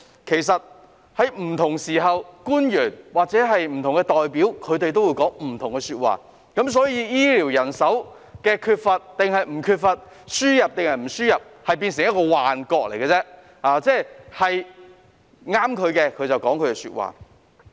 其實，在不同時候，官員或不同代表也會講不同的說話，對於醫療人手是否缺乏、究竟應否輸入人手，這件事有如幻覺，他們只會按情況說他們想說的話。